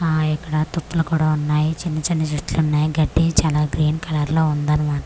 ఆఆ ఇక్కడ తుప్పలు కూడా ఉన్నాయి చిన్న చిన్న చెట్లు ఉన్నాయి గడ్డి చాలా గ్రీన్ కలర్ లో ఉంది అన్నమాట.